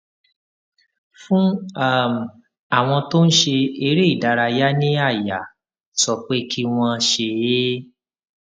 fún um àwọn tó ń ṣe eré ìdárayá ní àyà sọ pé kí wón ṣe é